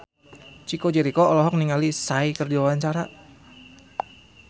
Chico Jericho olohok ningali Psy keur diwawancara